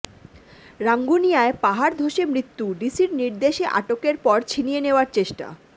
রাঙ্গুনিয়ায় পাহাড় ধসে মৃত্যু ডিসির নির্দেশে আটকের পর ছিনিয়ে নেওয়ার চেষ্টা